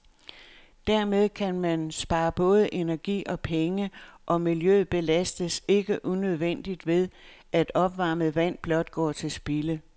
Dermed kan man spare både energi og penge, og miljøet belastes ikke unødigt ved, at opvarmet vand blot går til spilde.